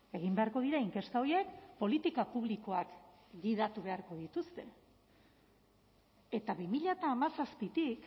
egin beharko dira inkesta horiek politika publikoak gidatu beharko dituzte eta bi mila hamazazpitik